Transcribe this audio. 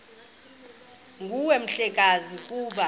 nguwe mhlekazi ukuba